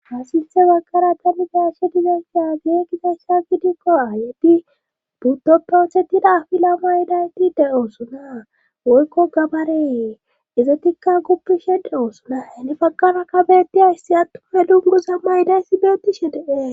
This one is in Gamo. Hasilse baggara tani gashe digentiya gee gizasha gidikko aayedi butto prothetida fila ma idayti de oosona woykko gabaree izatikka guppi shedhe oosona heni pagkana kabeti ayssi attufe dugugo samma idayssi beetishe deee.